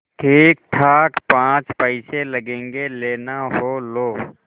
ठीकठाक पाँच पैसे लगेंगे लेना हो लो